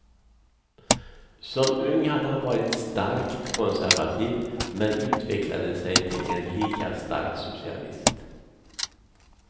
Som ung hade han varit starkt konservativ men utvecklade sig till en lika stark socialist.